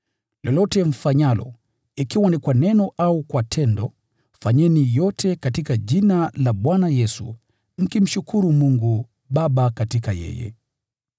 Lolote mfanyalo, ikiwa ni kwa neno au kwa tendo, fanyeni yote katika jina la Bwana Yesu, mkimshukuru Mungu Baba katika yeye.